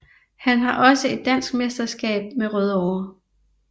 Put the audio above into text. Han har også et dansk mesterskab med Rødovre